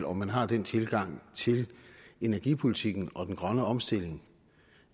om man har den tilgang til energipolitikken og den grønne omstilling